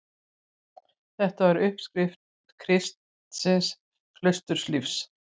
Þetta var upphaf kristins klausturlífs.